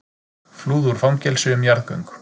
Flúðu úr fangelsi um jarðgöng